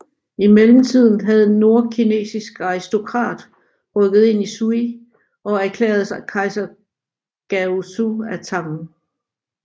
I mellemtiden havde en nordkinesisk aristokrat rykket ind i Sui og erklærede sig Kejser Gaozu af Tang